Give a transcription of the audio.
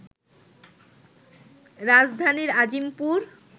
রাজধানীর আজিমপুর